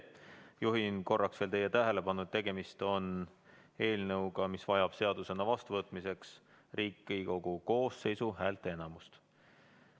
Juhin korraks veel teie tähelepanu, et tegemist on eelnõuga, mis vajab seadusena vastuvõtmiseks Riigikogu koosseisu häälteenamust.